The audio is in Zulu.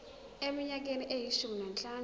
eminyakeni eyishumi nanhlanu